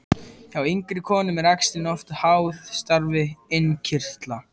Hjá yngri konum eru æxlin oft háð starfi innkirtla.